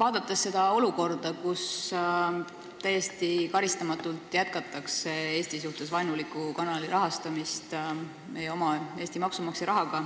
Vaadates seda olukorda, kus täiesti karistamatult jätkatakse Eesti suhtes vaenuliku kanali rahastamist meie oma Eesti maksumaksja rahaga